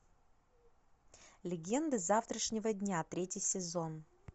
легенды завтрашнего дня третий сезон